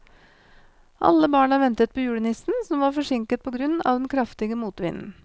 Alle barna ventet på julenissen, som var forsinket på grunn av den kraftige motvinden.